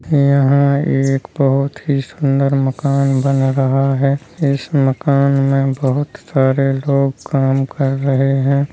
यहाँ एक बोहत ही सुंदर मकान बन रहा है इस मकान में बोहत सारे लोग काम कर रहे हैं।